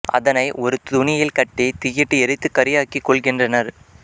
அதனை ஒரு துணியில் கட்டி தீயிலிட்டு எரித்துக் கரியாக்கிக் கொள்கின்றனர்